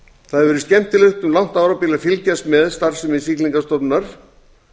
það hefur verið skemmtilegt um langt árabil að fylgjast með starfsemi siglingastofnunar